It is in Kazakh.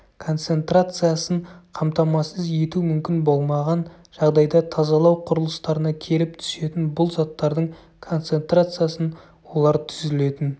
концентрациясын қамтамасыз ету мүмкін болмаған жағдайда тазалау құрылыстарына келіп түсетін бұл заттардың концентрациясын олар түзілетін